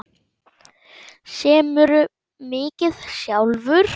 Semurðu mikið sjálfur?